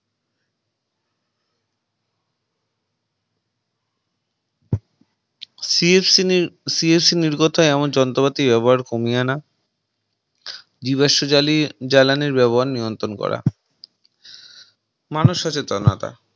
CFC নির CFC নির্গত হয় এমন যন্ত্রপাতি ব্যবহার কমিয়ে আনা জীবাশ্ম জ্বালিজ্বালানির ব্যবহার নিয়ন্ত্রণ করা মানুষ সচেতনতা